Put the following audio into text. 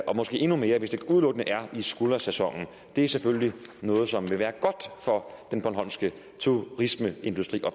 og måske endnu mere hvis det udelukkende er i skuldersæsonen det er selvfølgelig noget som vil være godt for den bornholmske turismeindustri